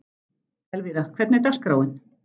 Elvira, hvernig er dagskráin?